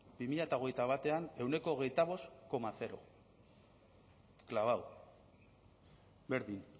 bi mila hogeita batean ehuneko hogeita bost koma zero clavado berdin